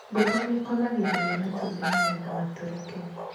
Ngũkũ nĩĩkomagĩrĩria matumbĩ nĩgetha matũrĩke.